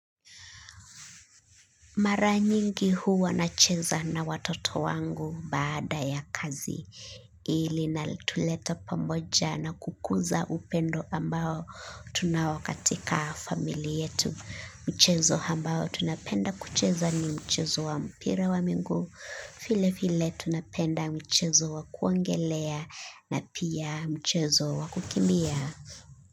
Maranyingi huwa na cheza na watoto wangu baada ya kazi hiili na tuleta pamoja na kukuza upendo ambao tunaokatika familiayetu mchezo ambao tunapenda kucheza ni mchezo wa mpira wa miguu vile vile tunapenda mchezo wa kuogelea na pia mchezo wa kukimbia.